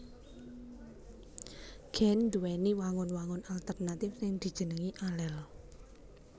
Gen nduwèni wangun wangun alternatif sing dijenengi alel